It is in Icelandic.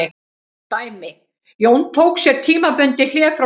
Dæmi: Jón tók sér tímabundið hlé frá störfum.